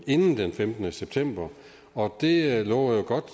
inden den femtende september og det lover jo godt